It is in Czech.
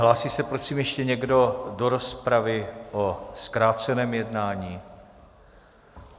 Hlásí se prosím ještě někdo do rozpravy o zkráceném jednání?